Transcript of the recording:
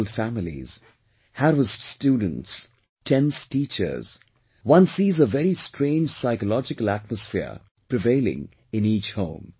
Troubled families, harassed students, tense teachers one sees a very strange psychological atmosphere prevailing in each home